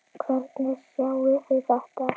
Hvernig sjáið þið þetta?